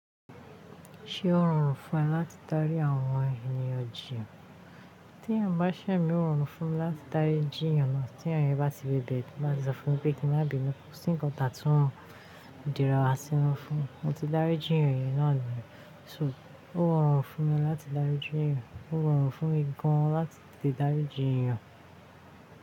Ṣé ó rọrùn fún ẹ láti dárí àwọn ènìyàn jíi? Tí èèyàn bá ṣẹ̀ mí ó rọrùn fún mi láti dárí jíyàn náà tí èèyàn bá ti bèbè, to ba ti sọ fún mi pé kí n máa bínú, kò sí nǹkan ta tún di díra wa sinu fún un. Mo ti dárí jíyàn yẹn náà nìyẹn. So ó rọrùn fún mi láti dárí jíyàn, ó rọrùn fún mi gan láti tètè dárí jí iyàn.